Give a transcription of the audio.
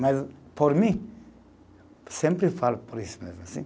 Mas, por mim, sempre falo por isso mesmo, assim.